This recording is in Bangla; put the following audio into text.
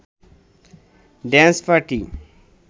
dance party